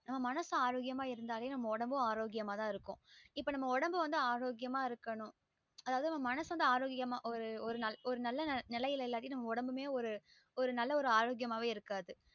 நம்ம மனசு ஆரோக்கியமா இருந்தாலே நம்ம ஒடம்பும் ஆரோக்கியமா தா இருக்கும் இப்ப நம்ம ஒடம்பு வந்து ஆரோக்கியா இருக்கணும் அதாவது மனசு வந்து ஆரோக்கியமா நல்ல ஒரு நல்ல நெலையிட்ட இல்லைன்னா நமளோட உடம்புமே ஆரோக்கியமாவே இருக்காது